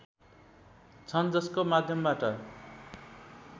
छन् जसको माध्यमबाट